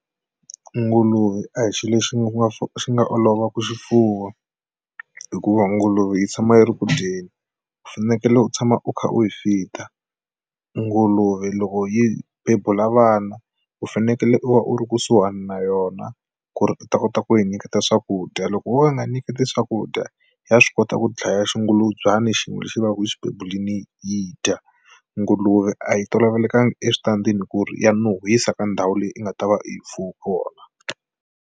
Nguluve a hi xilo lexi nga xi nga olova ku xifuwa hikuva nguluve yi tshama yi ri ku dyeni u fanekele u tshama u kha u yi feeder nguluve loko yi bebula vana u fanekele u va u ri kusuhani na yona ku ri u ta kota ku yi nyiketa swakudya loko wo ka u nga nyiketi swakudya ya swi kota ku dlaya xingulubyana xin'we lexi va ka yi xi bebuleni yi dya nguluve a yi tolovelekanga eswitandini ku ri ya nuhwisa ka ndhawu leyi u nga ta va u yi mfuwe kona.